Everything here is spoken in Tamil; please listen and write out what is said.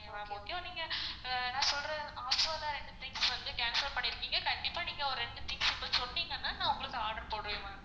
நீங்க நான் சொல்ற offer ல ரெண்டு things வந்து cancel பண்ணிருக்கீங்க கண்டிப்பா நீங்க ரெண்டு things நீங்க சொன்னீங்கனா நான் உங்களுக்கு order போடுவன் ma'am.